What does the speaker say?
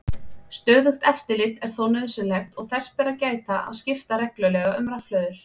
Stöðugt eftirlit er þó nauðsynlegt og þess ber að gæta að skipta reglulega um rafhlöður.